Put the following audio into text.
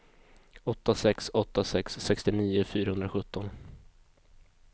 åtta sex åtta sex sextionio fyrahundrasjutton